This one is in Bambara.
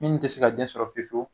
Min tɛ se ka den sɔrɔ fewu fewu